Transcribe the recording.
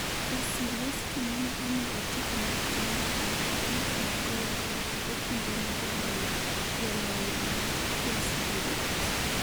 Wasilewski nene omi otiko maratong' mar ariyo bang'e kanogoyo gi okumbone jaloyo mar Chelsea Diego Costa